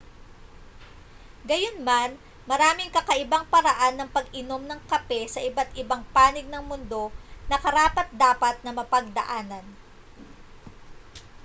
gayunman maraming kakaibang paraan ng pag-inom ng kape sa iba't ibang panig ng mundo na karapat-dapat na mapagdaanan